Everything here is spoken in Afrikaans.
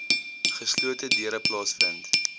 geslote deure plaasvind